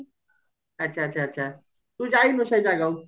ଆଛା ଆଛା ଆଛା ତୁ ଯାଇନୁ ସେ ଜାଗାକୁ